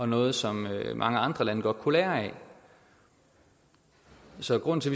noget som mange andre lande godt kunne lære af så grunden til